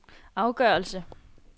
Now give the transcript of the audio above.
afgørelse